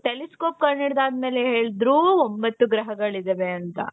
telescope ಕಂಡು ಹಿಡಿದಾದ ಮೇಲೆ ಹೇಳಿದ್ರು ಒಂಬತ್ತು ಗ್ರಹಗಳಿವೆ ಅಂತ .